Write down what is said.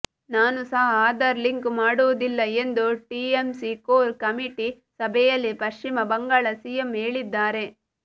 ನಾನು ಸಹ ಆಧಾರ್ ಲಿಂಕ್ ಮಾಡುವುದಿಲ್ಲ ಎಂದು ಟಿಎಂಸಿ ಕೋರ್ ಕಮಿಟಿ ಸಭೆಯಲ್ಲಿ ಪಶ್ಚಿಮ ಬಂಗಾಳ ಸಿಎಂ ಹೇಳಿದ್ದಾರೆ